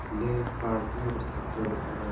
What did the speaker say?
ये पार्टियों और शादियों में जाये जा --